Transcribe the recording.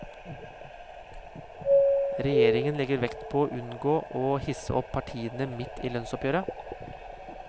Regjeringen legger vekt på å unngå å hisse opp partene midt i lønnsoppgjøret.